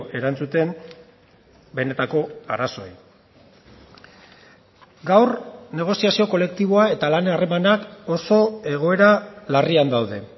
erantzuten benetako arazoei gaur negoziazio kolektiboa eta lan harremanak oso egoera larrian daude